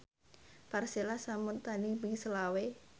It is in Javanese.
Persela sampun tandhing ping selawe